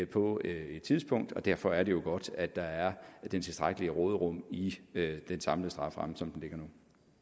på et tidspunkt og derfor er det godt at der er det tilstrækkelige råderum i i den samlede strafferamme som den ligger nu